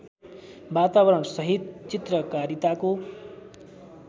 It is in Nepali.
वातावरणसहित चित्रकारिताको